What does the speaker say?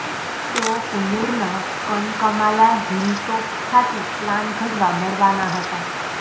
તેઓ કુન્નુરનાં કનકમાલા હિલટોપ ખાતે પ્લાન ઘડવા મળવાનાં હતા